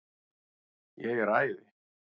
Ég er æði.